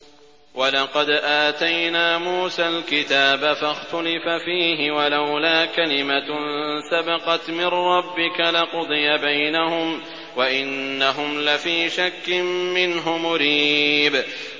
وَلَقَدْ آتَيْنَا مُوسَى الْكِتَابَ فَاخْتُلِفَ فِيهِ ۚ وَلَوْلَا كَلِمَةٌ سَبَقَتْ مِن رَّبِّكَ لَقُضِيَ بَيْنَهُمْ ۚ وَإِنَّهُمْ لَفِي شَكٍّ مِّنْهُ مُرِيبٍ